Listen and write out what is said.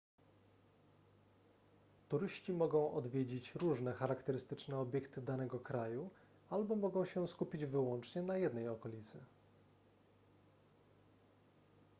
turyści mogą odwiedzać różne charakterystyczne obiekty danego kraju albo mogą się skupić wyłącznie na jednej okolicy